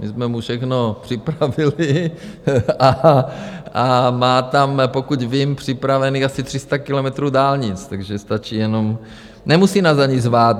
My jsme mu všechno připravili a má tam, pokud vím, připravených asi 300 kilometrů dálnic, takže stačí jenom... nemusí nás ani zvát.